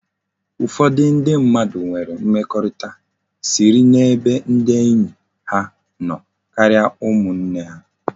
Ufodu ndi mmadu nwere mmekorita siri na ebe ndi enyi ha no karia umu nne ha